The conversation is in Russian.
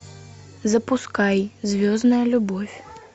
запускай звездная любовь